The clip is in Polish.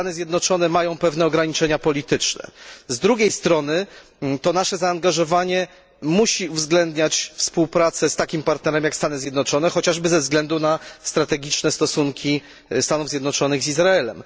Stany Zjednoczone mają pewne ograniczenia polityczne, z drugiej strony nasze zaangażowanie musi uwzględniać współpracę z takim partnerem jak Stany Zjednoczone, chociażby ze względu na strategiczne stosunki Stanów Zjednoczonych z Izraelem.